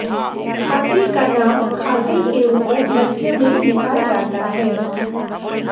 खाते का नाम खाते के ऊपर मध्य में लिखा जाता है